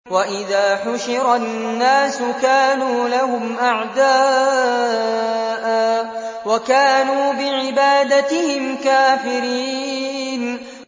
وَإِذَا حُشِرَ النَّاسُ كَانُوا لَهُمْ أَعْدَاءً وَكَانُوا بِعِبَادَتِهِمْ كَافِرِينَ